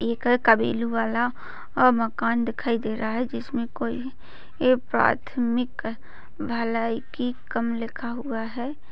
एक कबिलवाला अह मकान दिखाई दे रहा है। जिसमे कोई प्राथमिक भलाई की कम लिखा हुआ है।